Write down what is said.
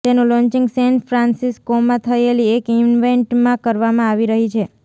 તેનું launching San ફ્રાન્સિસ્કોમાં થયેલી એક ઇવેન્ટમાં કરવામાં આવી રહી છે